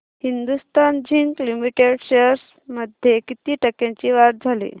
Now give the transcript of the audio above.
Hindustan zinc limited shares मध्ये किती टक्क्यांची वाढ झाली